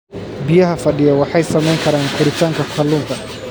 Biyaha fadhiya waxay saamayn karaan koritaanka kalluunka.